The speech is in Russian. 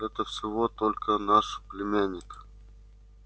это всего только наш племянник